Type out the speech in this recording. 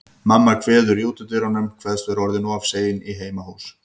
Mamma kveður í útidyrunum, kveðst vera orðin of sein í heimahús.